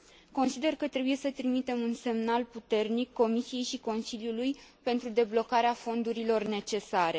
Consider că trebuie să trimitem un semnal puternic Comisiei și Consiliului pentru deblocarea fondurilor necesare.